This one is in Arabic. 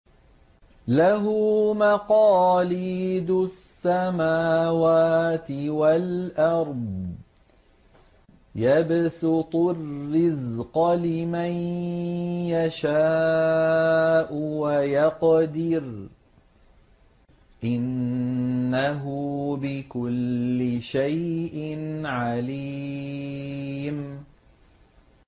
لَهُ مَقَالِيدُ السَّمَاوَاتِ وَالْأَرْضِ ۖ يَبْسُطُ الرِّزْقَ لِمَن يَشَاءُ وَيَقْدِرُ ۚ إِنَّهُ بِكُلِّ شَيْءٍ عَلِيمٌ